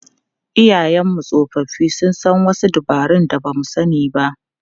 Iyayenmu tsofaffi sun san wasu dabarun da ba mu sani ba.